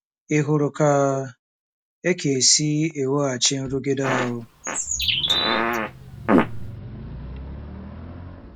Ị hụrụ ka e ka e si eweghachi nrụgide ahụ?